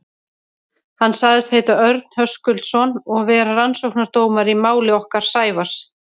Hann sagðist heita Örn Höskuldsson og vera rannsóknardómari í máli okkar Sævars.